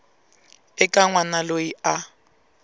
eka n wana loyi a